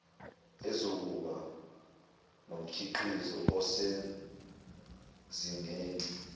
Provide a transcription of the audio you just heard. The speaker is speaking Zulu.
ezokuba nomkhiqizo osezingeni